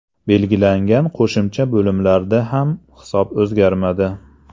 Belgilangan qo‘shimcha bo‘limlarda ham hisob o‘zgarmadi.